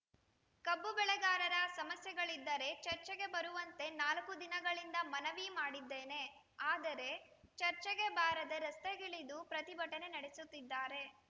ಕಬ್ಬು ಬೆಳೆಗಾರರ ಸಮಸ್ಯೆಗಳಿದ್ದರೆ ಚರ್ಚೆಗೆ ಬರುವಂತೆ ನಾಲ್ಕು ದಿನಗಳಿಂದ ಮನವಿ ಮಾಡಿದ್ದೇನೆ ಆದರೆ ಚರ್ಚೆಗೆ ಬಾರದೆ ರಸ್ತೆಗಿಳಿದು ಪ್ರತಿಭಟನೆ ನಡೆಸುತ್ತಿದ್ದಾರೆ